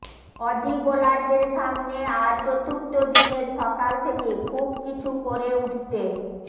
Aussie বোলারদের সামনে আজ চতুর্থ দিনের সকাল থেকে খুব কিছু করে উঠতে